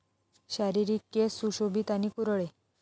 शारीरिक केस सुशोभित आणि कुरळे